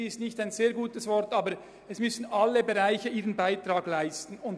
Das ist kein sehr gutes Wort, aber gemeint ist, dass alle Bereiche ihren Beitrag leisten müssen.